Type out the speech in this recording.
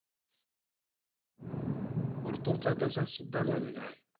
पडतुरचा तसाचं सुद्धा झालेला आहे.